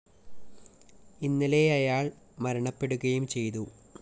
ഇന്നലെ അയാള്‍ മരണപ്പെടുകയും ചെയ്തു